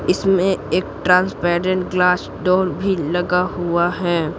इसमें एक transparent glass door भी लगा हुआ है।